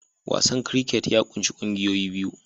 Wasan cricket ya ƙunshi ƙungiyoyi biyu